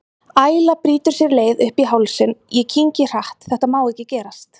Æla brýtur sér leið upp í hálsinn, ég kyngi hratt, þetta má ekki gerast.